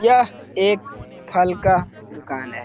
यह एक फल का दुकान है।